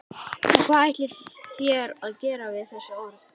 Og hvað ætlið þér að gera við þessi orð?